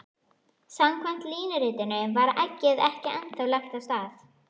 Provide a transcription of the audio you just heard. Samkvæmt línuritinu var eggið ekki ennþá lagt af stað.